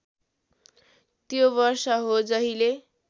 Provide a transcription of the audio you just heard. त्यो वर्ष हो जहिले